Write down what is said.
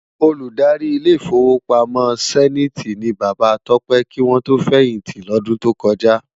Ôlúdári Ilé Ifówópámò Sèniti ni Baba Tope kiwòn tó fèyinti lòdùn tókòjá